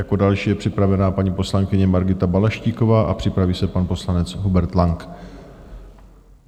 Jako další je připravena paní poslankyně Margita Balaštíková a připraví se pan poslanec Hubert Lang.